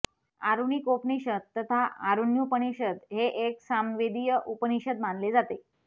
आरुणिकोपनिषद तथा आरुण्युपनिषद हे एक सामवेदीय उपनिषद मानले जाते